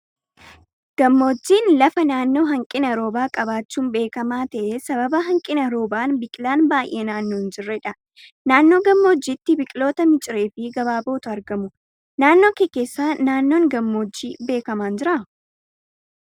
Gammoojjiin lafa naannoo hanqina roobaa qabaachuun beekamaa ta'ee sababa nanqina roobaan biqilaan baay'een naannoo hin jirredha. Naannoo gammoojjiitti biqiloota miciree fi gabaabootu argamu. Naannoo kee keessa naannoon gammoojjii beekamaan jiraa?